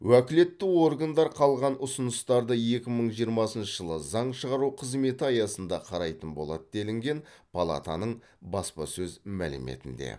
уәкілетті органдар қалған ұсыныстарды екі мың жиырмасыншы жылы заң шығару қызметі аясында қарайтын болады делінген палатаның баспасөз мәліметінде